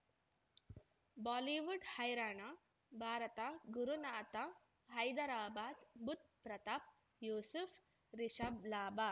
Bollywood ಹೈರಾಣ ಭಾರತ ಗುರುನಾಥ ಹೈದರಾಬಾದ್ ಬುಧ್ ಪ್ರತಾಪ್ ಯೂಸುಫ್ ರಿಷಬ್ ಲಾಭ